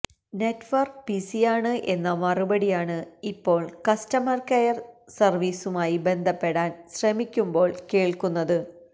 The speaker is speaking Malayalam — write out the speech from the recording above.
നെറ്റ് വര്ക്ക് ബിസിയാണ് എന്ന മറുപടിയാണ് ഇപ്പോള് കസ്റ്റര്മര് കെയര് സര്വീസുമായി ബന്ധപ്പെടാന് ശ്രമിക്കുമ്പോള് കേള്ക്കുന്നത്